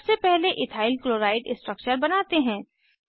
सबसे पहले ethyl chloride structure बनाते हैं